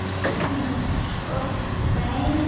Hún skoppaði um eins og bolti.